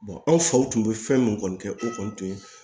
anw faw tun bɛ fɛn min kɔni kɛ o kɔni tun ye